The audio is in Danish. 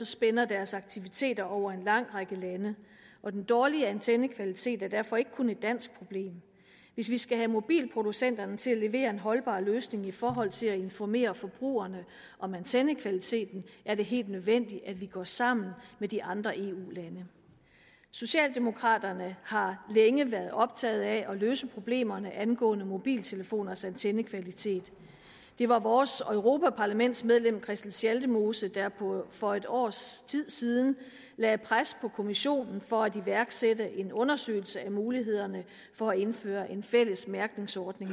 spænder deres aktiviteter over en lang række lande og den dårlige antennekvalitet er derfor ikke kun et dansk problem hvis vi skal have mobilproducenterne til at levere en holdbar løsning i forhold til at informere forbrugerne om antennekvaliteten er det helt nødvendigt at vi går sammen med de andre eu lande socialdemokraterne har længe været optaget af at løse problemerne angående mobiltelefonernes antennekvalitet det var vores europaparlamentsmedlem christel schaldemose der for et års tid siden lagde pres på kommissionen for at iværksætte en undersøgelse af mulighederne for at indføre en fælles mærkningsordning